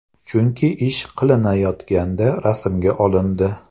Chunki ish qilinayotganda rasmga olindi.